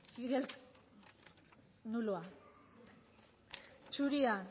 fidel nuloa zuria